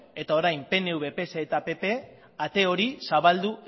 eta orain pnv pse eta pp ate hori zabaldu